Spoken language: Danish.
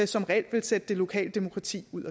som reelt vil sætte det lokale demokrati ud af